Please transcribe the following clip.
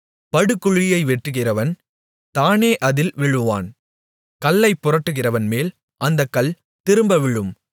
படுகுழியை வெட்டுகிறவன் தானே அதில் விழுவான் கல்லைப் புரட்டுகிறவன்மேல் அந்தக் கல் திரும்ப விழும்